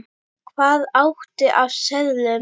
Hvað áttu af seðlum?